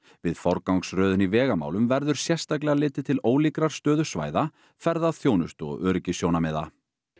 við forgangsröðun í vegamálum verður sérstaklega litið til ólíkrar stöðu svæða ferðaþjónustu og öryggissjónarmiða